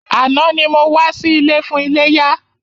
Àná ni mo wá sí ilé fún iléyá.